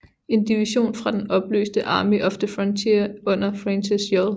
En division fra den opløste Army of the Frontier under Francis J